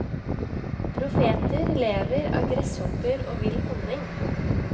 Profeter lever av gresshopper og vill honning.